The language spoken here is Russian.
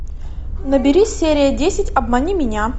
набери серия десять обмани меня